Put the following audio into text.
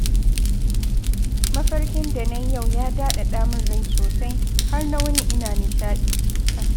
Mafarkin da na yi yau ya daɗaɗa min rai sosai, har na wuni ina nishaɗi